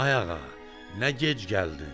Ay ağa, nə gec gəldin?